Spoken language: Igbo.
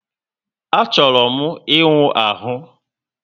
A chọrọ m íwú ahụ